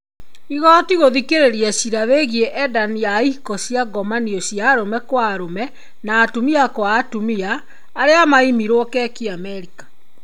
Igoti gũthikĩrĩria ciira wĩgiĩ endani a ihiko cia ngomanio cia arũme kwa arũme na atumia kwa atumia. Arĩa maimiruo keki Amerika.